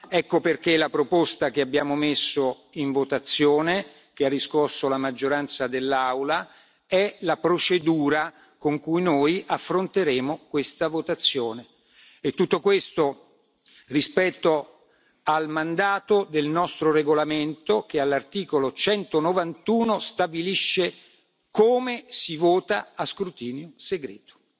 Ecco perché la proposta che abbiamo messo in votazione, che ha riscosso l'approvazione della maggioranza dell'Aula, è la procedura con cui noi affronteremo questa votazione e tutto questo rispetto al mandato del nostro regolamento che, all'articolo 191, stabilisce le modalità di voto a scrutinio segreto.